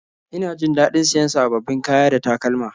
Ina jin daɗin siyan sababbin kaya da takalma